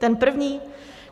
Ten první?